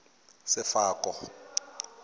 sefako